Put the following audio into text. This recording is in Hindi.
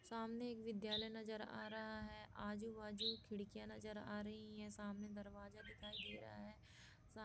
सामने एक विद्यालय नजर आ रहा है आजू-बाजू खिड़कियां नजर आ रही है सामने दरवाजा दिखाई दे रहा है सा--